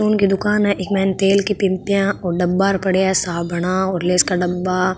परचून दुकान है इक माय तेल की पिंपिया डब्बा पड़े है साबुना और लेस की डबा --